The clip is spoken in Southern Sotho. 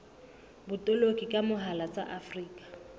botoloki ka mohala tsa afrika